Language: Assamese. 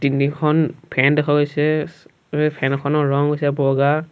তিনিখন ফেন হৈছে ইছ ফেন খনৰ ৰং হৈছে বগা।